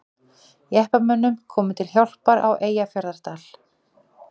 Jeppamönnum komið til hjálpar á Eyjafjarðardal